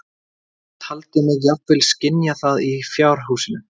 Taldi mig jafnvel skynja það í fjárhúsinu.